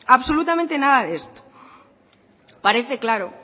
absolutamente nada de esto parece claro